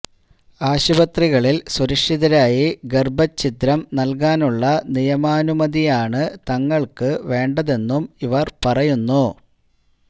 ആശുപത്രികളില് സുരക്ഷിതരായി ഗര്ഭച്ഛിദ്രം നല്കാനുള്ള നിയമാനുമതിയാണ് തങ്ങള്ക്ക് വേണ്ടതെന്നും ഇവര് പറയുന്നു